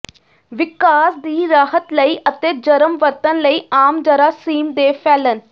ਵਿਕਾਸ ਦੀ ਰਾਹਤ ਲਈ ਅਤੇ ਜਰਮ ਵਰਤਣ ਲਈ ਆਮ ਜਰਾਸੀਮ ਦੇ ਫੈਲਣ